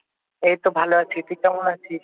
এইতো ভালো আছি, তুই কেমন আছিস?